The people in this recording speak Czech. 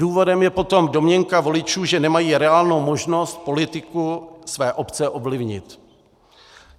Důvodem je potom domněnka voličů, že nemají reálnou možnost politiku své obce ovlivnit.